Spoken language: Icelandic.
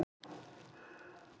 Það er til ráð.